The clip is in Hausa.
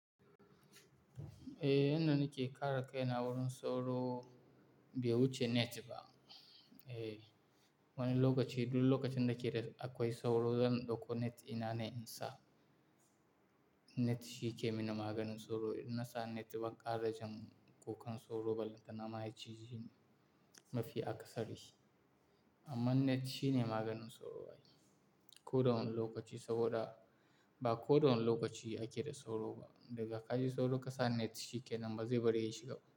Eh, yanda nake ƙara kai na wurin sauro bai wuce net ba. Eh, wani lokaci, duk lokacin da keda akwai sauro zan ɗauko net ina ne in sa. Net shi yake mini maganin sauro. Inna sa net ba ƙara jan kukan sauro ba. Lantana ma ya cije ni mafi akasari amma net shine maganin sauro. Ko da wani lokaci saboda ba ko da wani lokaci ake da sauro ba. Daga ka ji sauro ka sa net shi kenan ba zai bari ya shiga ba.